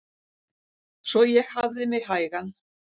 Svo ég hafði mig hægan.